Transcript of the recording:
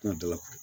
Kuma dɔ la